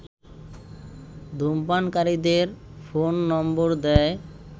ধূমপানকারীদের phone number দেয়